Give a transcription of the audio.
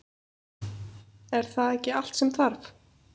Er það ekki allt sem þarf?